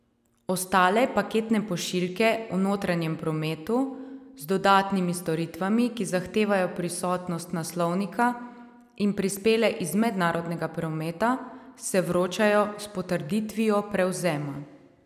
Ostale paketne pošiljke v notranjem prometu z dodatnimi storitvami, ki zahtevajo prisotnost naslovnika in prispele iz mednarodnega prometa, se vročajo s potrditvijo prevzema.